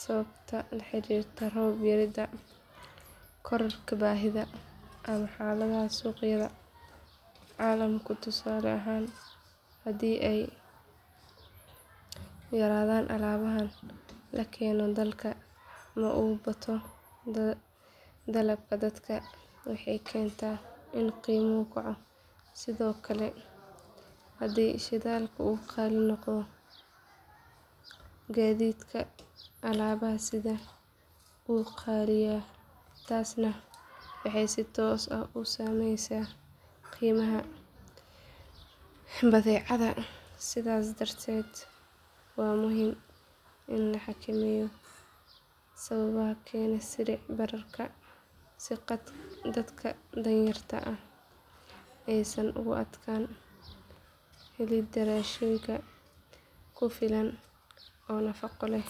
sababo la xiriira roob yarida kororka baahida ama xaalada suuqyada caalamka tusaale ahaan haddii ay yaraadaan alaabaha la keeno dalka ama uu bato dalabka dadka waxay keentaa in qiimuhu kaco sidoo kale haddii shidaalka uu qaali noqdo gaadiidka alaabaha sidaya wuu qaaliyaa taasna waxay si toos ah u saameysaa qiimaha badeecada sidaas darteed waa muhiim in la xakameeyo sababa keena sicir bararka si dadka danyarta ah aysan ugu adkaan helidda raashin ku filan oo nafaqo leh.